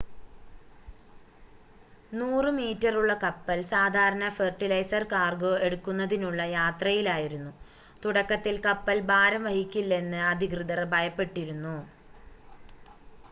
100 മീറ്ററുള്ള കപ്പൽ സാധാരണ ഫെർട്ടിലൈസർ കാർഗോ എടുക്കുന്നതിനുള്ള യാത്രയിലായിരുന്നു തുടക്കത്തിൽ കപ്പൽ ഭാരം വഹിക്കില്ലെന്ന് അധികൃതർ ഭയപ്പെട്ടിരുന്നു